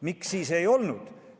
Miks siis ei olnud?